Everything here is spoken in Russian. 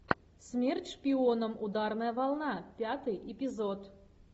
смерть шпионам ударная волна пятый эпизод